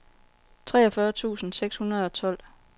treogfyrre tusind seks hundrede og tolv